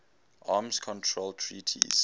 arms control treaties